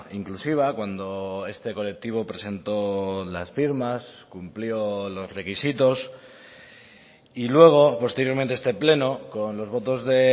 inclusiva cuando este colectivo presentó las firmas cumplió los requisitos y luego posteriormente este pleno con los votos de